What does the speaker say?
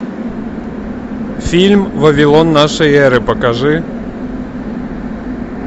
фильм вавилон нашей эры покажи